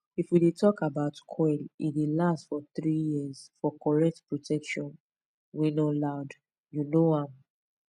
if we dey talk about coil e dey last for 3yrs for correct protection wey no loud u know am